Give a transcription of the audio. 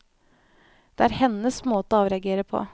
Det er hennes måte å avreagere på.